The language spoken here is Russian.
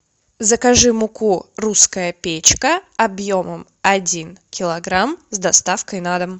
закажи муку русская печка объемом один килограмм с доставкой на дом